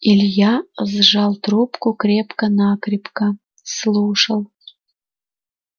илья сжал трубку крепко-накрепко слушал